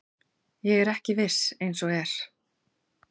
Ég er ekki viss eins og er.